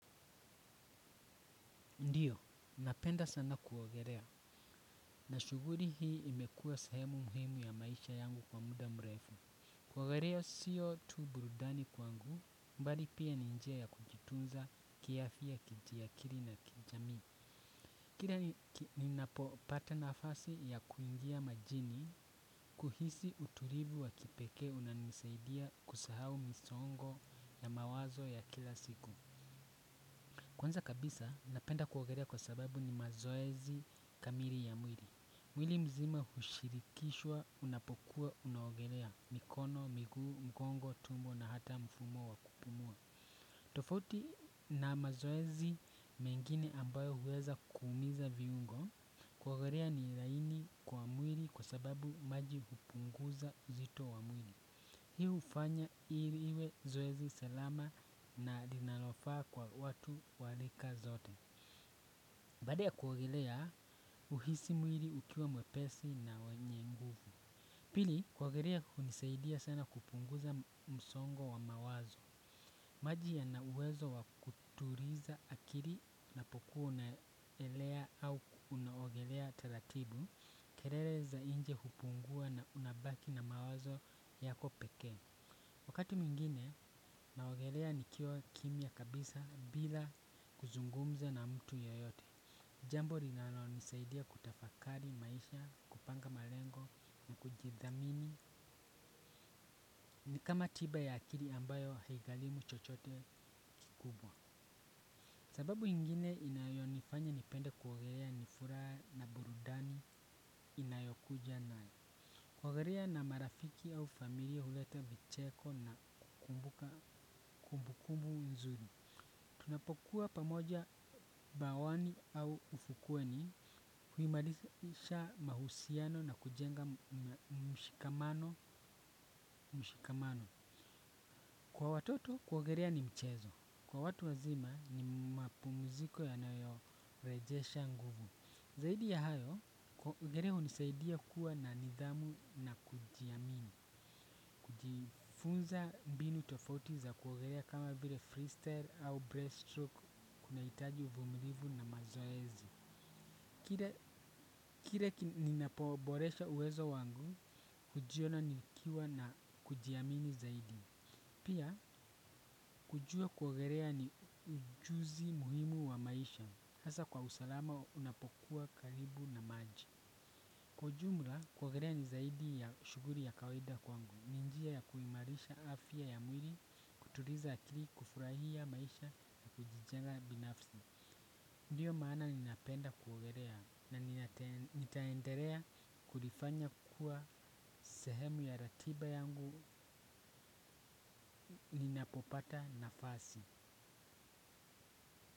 Ndio, napenda sana kuongelea, na shughuli hii imekua sehemu muhimu ya maisha yangu kwa muda mrefu. Kuogelea sio tu burudani kwangu, bali pia ni njia ya kujitunza kiafya kiakili na kijamii. Kila ninapopata nafasi ya kuingia majini kuhisi utulivu wa kipekee unanisaidia kusahau misongo ya mawazo ya kila siku. Kwanza kabisa, napenda kuogelea kwa sababu ni mazoezi kamili ya mwili. Mwili mzima hushirikishwa, unapokuwa, unaogelea, mikono, miguu, mgongo, tumbo na hata mfumo wa kupumua. Tofauti na mazoezi mengine ambayo huweza kuumiza viungo, kuogelea ni ilaini kwa mwili kwa sababu maji hupunguza uzito wa mwili. Hii hufanya hili liwe zoezi salama na linalofaa kwa watu wa rika zote. Baada ya kuogelea uhisi mwili ukiwa mwepesi na wenye nguvu. Pili, kuogelea hunisaidia sana kupunguza msongo wa mawazo. Maji yana uwezo wa kutuliza akili unapokua unaelea au unaogelea taratibu, kelele za nje hupungua na unabaki na mawazo yako pekee. Wakati mwingine, naogelea nikiwa kimya kabisa bila kuzungumza na mtu yeyote. Jambo linalonisaidia kutafakari maisha, kupanga malengo na kujidhamini. Ni kama tiba ya akili ambayo haigarimu chochote kikubwa. Sababu ingine inayonifanya nipende kuogelea ni furaha na burudani inayokuja nayo. Kuogelea na marafiki au familia huleta vicheko na kukumbuka kumbukumbu nzuri. Tunapokuwa pamoja bawani au ufukweni huhimarisha mahusiano na kujenga mshikamano. Kwa watoto kuogelea ni mchezo. Kwa watu wazima ni mapumuziko yanayorejesha nguvu. Zaidi ya hayo, kuogelea hunisaidia kuwa na nidhamu na kujiamini. Kujifunza mbinu tofauti za kuogelea kama vile freestyle au breaststroke kunahitaji uvumilivu na mazoezi. Kila ninapoboresha uwezo wangu, hujiona nikiwa na kujiamini zaidi, pia kujua kuogelea ni ujuzi muhimu wa maisha, hasa kwa usalama unapokuwa karibu na maji. Kwa ujumla, kuogelea ni zaidi ya shughuli ya kawaida kwangu, ni njia ya kuimalisha afya ya mwili, kutuliza akili, kufurahia maisha na kujijenga binafsi. Ndiyo maana ninapenda kuogelea na nitaendelea kulifanya kua sehemu ya ratiba yangu ninapopata nafasi.